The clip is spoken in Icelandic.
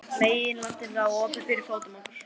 Meginlandið lá opið fyrir fótum okkar.